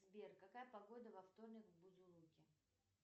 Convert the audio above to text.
сбер какая погода во вторник в бузулуке